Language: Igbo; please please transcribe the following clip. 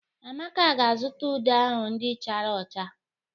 Amaka ga-azụta ude ahụ ndị chara ụcha.